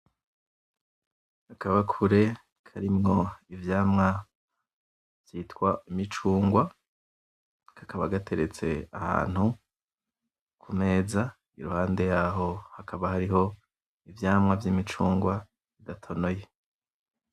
Akabakure karimwo ivyamwa vyitwa imicungwa kakaba gateretse ahantu kumeza iruhande yaho hakaba hateretse imicungwa idatonoye.